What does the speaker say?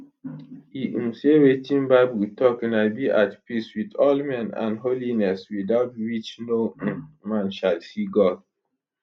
e um say wetin bible tok na be at peace wit all men and holiness without which no um man shall see god